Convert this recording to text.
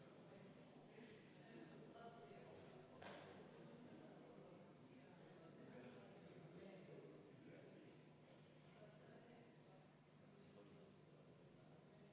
Poolt 51 vastu, vastuolijaid ega erapooletuid ei ole.